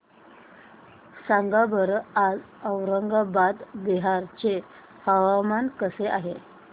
सांगा बरं आज औरंगाबाद बिहार चे हवामान कसे आहे